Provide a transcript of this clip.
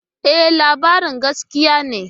E, labarin gaskiya ne.